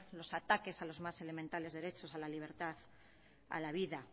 los ataques a los más elementales derechos a la libertad a la vida